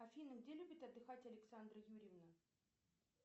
афина где любит отдыхать александра юрьевна